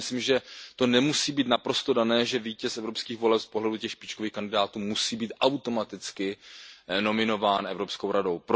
Já si myslím, že to nemusí být naprosto dané, že vítěz evropských voleb z pohledu těch špičkových kandidátů musí být automaticky nominován Evropskou radou.